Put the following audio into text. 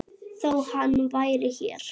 Þó hann væri hér.